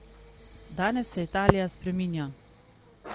Danes se Italija spreminja!